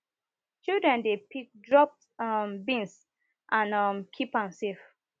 children dey pick dropped um beans and um keep am safe